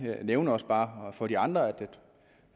nævne også bare over for de andre